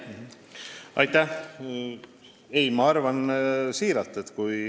Aitäh!